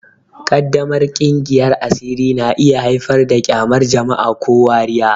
Ƙaddamar kingiyar asiri na iya haifar da ƙyamar jama'a ko wariya.